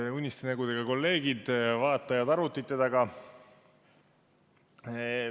Head uniste nägudega kolleegid ja vaatajad arvutite taga!